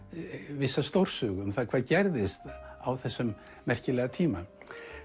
vissa stórsögu um það hvað gerðist á þessum merkilega tíma